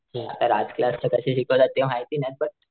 हा आता राज क्लास चे सर कस शिकवतात ते माहिती नाही पण,